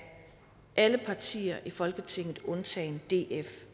alle partier i folketinget undtagen df